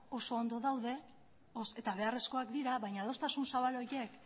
oso ondo daude eta beharrezkoak dira baina adostasun zabal horiek